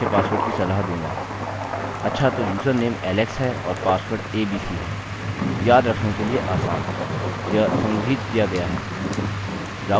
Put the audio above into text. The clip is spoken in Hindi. अच्छा तो यूजरनेम alex है और पासवर्ड abc है याद रखने के लिए आसान यह संग्रहीत किया गया है